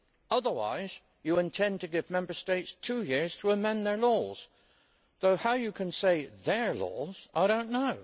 Otherwise you intend to give Member States two years to amend their laws though how you can say their' laws, I do not know.